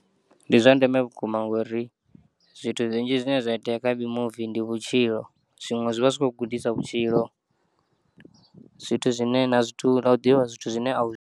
Ndi zwa ndeme vhukuma ngori zwithu zwinzhi zwine zwa itea kha mimuvi ndi vhitshilo zwiṅwe zwivha zwi tshi kho u gudisa vhutshilo, zwithu zwine na zwithu na u ḓivha zwithu zwine a u.